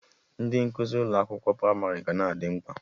Ndị nkuzi ụmụaka pramarị ga na-adị mkpa